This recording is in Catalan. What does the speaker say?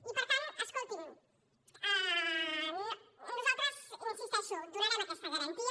i per tant escolti’m nosaltres hi insisteixo donarem aquesta garantia